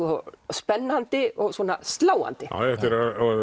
spennandi og svona sláandi þetta er